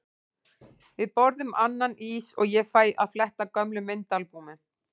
Við borðum annan ís og ég fæ að fletta gömlum myndaalbúmum.